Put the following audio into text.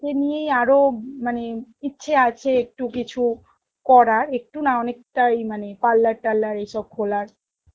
কে নিয়েই আরো মানে ইচ্ছে আছে একটু কিছু করার একটু না অনেকটাই মানে parlour টারলার এইসব খোলার